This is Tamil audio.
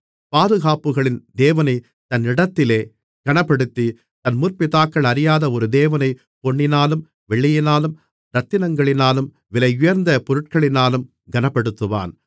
பாதுகாப்புகளின் தேவனைத் தன் இடத்திலே கனப்படுத்தி தன் முற்பிதாக்கள் அறியாத ஒரு தேவனைப் பொன்னினாலும் வெள்ளியினாலும் இரத்தினங்களினாலும் விலையுயர்ந்த பொருட்களினாலும் கனப்படுத்துவான்